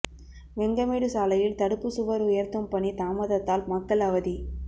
வெங்கமேடு சாலையில் தடுப்பு சுவர் உயர்த்தும் பணி தாமதத்தால் மக்கள் அவதி